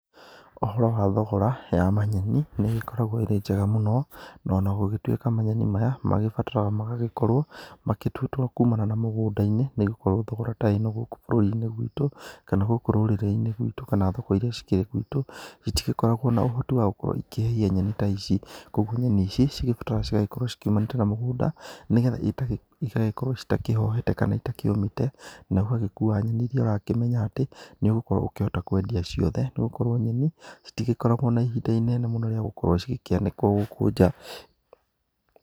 Ũhoro wa thogora ya manyeni nĩ ĩgĩkoragwo ĩrĩ njega mũno, na ona gũgĩtuĩka manyeni maya magĩbataraga magagĩkorwo matuĩtwo kumana na mũgũnda-inĩ. Nĩ gũkorwo thogora ta ĩno gũkũ bũrũri-inĩ gwitũ, kana gũkũ rũrĩrĩ-inĩ gwitũ, kana thoko iria cikĩrĩ gwitũ, citikoragwo na ũhoti wa gũkorwo ikĩhehia nyeni ta ici. Koguo nyeni ici cigĩbataraga cigagĩkorwo ciumanĩte na mũgũnda, nĩgetha igagĩkorwo citakĩhohete kana itakĩũmĩte na ũgagĩkua nyeni iria ũrakĩmenya, atĩ nĩ ũgũkorwo ũkĩhota kwendia ciothe. Nĩ gũkorwo nyeni itikoragwo na ihinda inene rĩa gũkorwo cigĩkĩanĩkwo gũkũ nja.